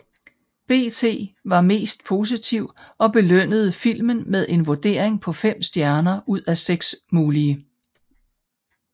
BT var mest positiv og belønnede filmen med en vurdering på 5 stjerner ud af 6 mulige